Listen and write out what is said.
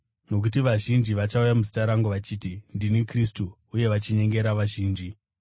Nokuti vazhinji vachauya muzita rangu vachiti, ‘Ndini Kristu,’ uye vachinyengera vazhinji.